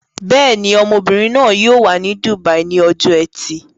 Bẹ́ẹ̀ ni, ọmọbìnrin náà yóò wà ní dùbàí ní ọjọ́ ẹtì.